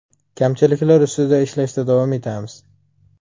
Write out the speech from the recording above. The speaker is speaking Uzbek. Kamchiliklar ustida ishlashda davom etamiz.